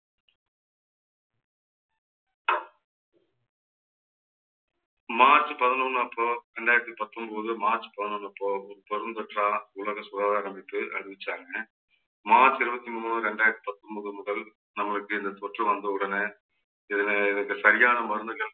March பதினொண்ணு அப்போ இரண்டாயிரத்து பத்தொன்பது மார்ச் பதினொண்ணு அப்போ உலக சுகாதார அமைப்பு அறிவிச்சாங்க மார்ச் இருபத்தி மூணு இரண்டாயிரத்து பத்தொன்பது முதல் நம்மளுக்கு இந்த தொற்று வந்த உடனே இதுல இதுக்கு சரியான மருந்துகள்